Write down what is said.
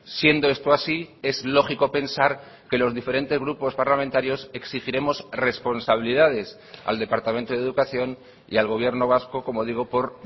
siendo esto así es lógico pensar que los diferentes grupos parlamentarios exigiremos responsabilidades al departamento de educación y al gobierno vasco como digo por